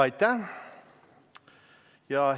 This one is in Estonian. Aitäh!